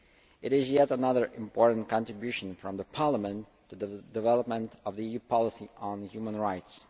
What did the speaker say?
It is yet another important contribution from Parliament to the development of EU policy on human rights.